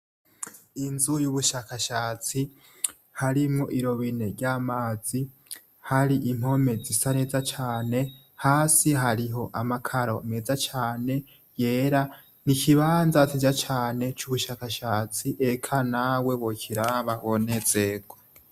Inzu y'ubushakashatsi harimwo irobine ry'amazi hari impome zi sa neza cane hasi hariho amakaro meza cane yera ni ikibanza tija cane c'ubushakashatsi ega nawe bokiraba bonezego.